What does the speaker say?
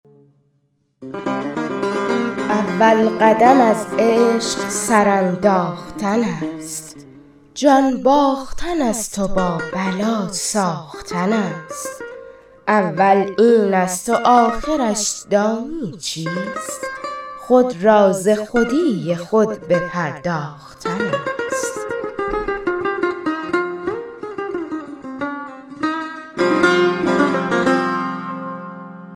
اول قدم از عشق سر انداختن است جان باختن است و با بلا ساختن است اول این است و آخرش دانی چیست خود را ز خودی خود بپرداختن است